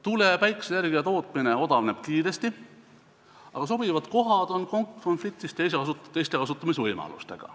Tuule- ja päikeseenergia tootmine odavneb kiiresti, aga sobivad kohad on konkureerimas teiste võimalustega.